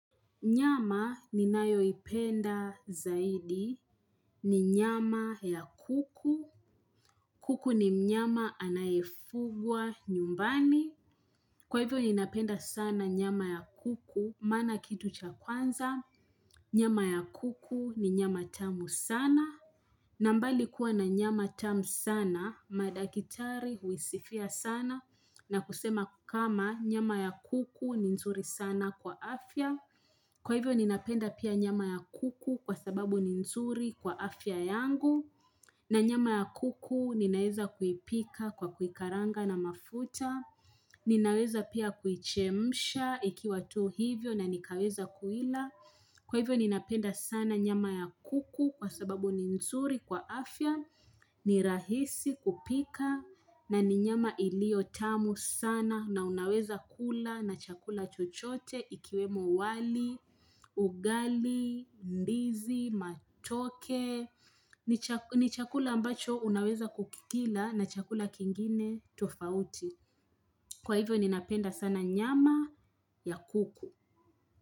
Nyama ninayo ipenda zaidi. Ni nyama ya kuku. Kuku ni mnyama anayefungwa nyumbani. Kwa hivyo ninapenda sana nyama ya kuku. Maana kitu cha kwanza. Nyama ya kuku ni nyama tamu sana. Na mbali kuwa na nyama tamu sana, madakitari huisifia sana na kusema kama nyama ya kuku ni nzuri sana kwa afya. Kwa hivyo ninapenda pia nyama ya kuku kwa sababu ni nzuri kwa afya yangu. Na nyama ya kuku ninaweza kuipika kwa kuikaranga na mafuta, ninaweza pia kuichemsha ikiwa tu hivyo na nikaweza kuila, kwa hivyo ninapenda sana nyama ya kuku kwa sababu ni nzuri kwa afya, ni rahisi kupika na ni nyama ilio tamu sana na unaweza kula na chakula chochote ikiwemo wali, ugali, mbizi, matoke, ni chakula ambacho unaweza kukikila na chakula kingine tofauti Kwa hivyo ninapenda sana nyama ya kuku.